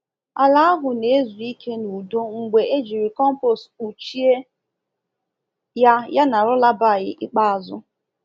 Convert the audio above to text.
Ala ahụ na-ezu ike n'udo mgbe ejiri compost kpuchie ya yana lullaby ikpeazụ.